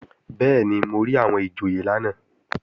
Bẹ́ẹ̀ni, mo rí àwọn ìjòyè lánàá